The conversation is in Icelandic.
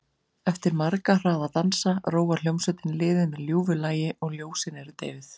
Eftir marga hraða dansa róar hljómsveitin liðið með ljúfu lagi og ljósin eru deyfð.